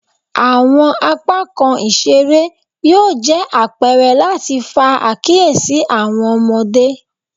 Awọn apakan isere yoo jẹ apẹrẹ lati fa akiyesi awọn ọmọde